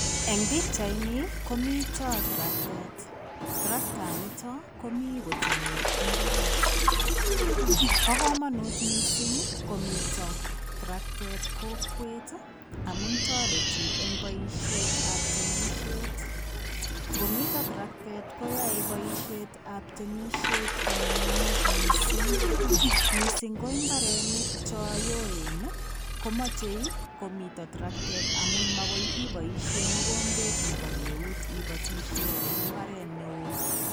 Eng pichait nii komitaa traktet ,traktaan nitoon komii koteme mbaret ,bo kamanut missing komiteen traktet kokwet ii amuun taretii eng boisiet ab temisiet komiteen traktet koyae boisiet ab temisiet ko nyumnyumit missing, missing ko mbaronik chaan yoen ii komachei komiteen traktet amuun magoi iboisien mogombeet ibateen mbaret ne wooh.